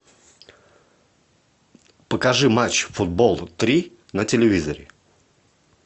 покажи матч футбол три на телевизоре